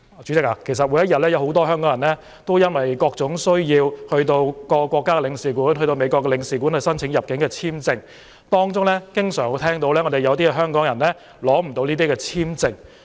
代理主席，每天有很多香港人因為各種需要前往各國領事館，例如到美國領事館，申請入境簽證，而我們經常聽到有香港人無法獲取簽證。